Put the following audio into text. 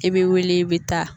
I bɛ wuli i bɛ taa